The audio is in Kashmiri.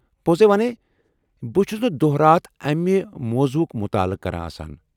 پوٚزٕے ونے بہٕ چُھس نہٕ دۄہ راتھ امہِ موضوعُک مُطالعہٕ كران آسان ۔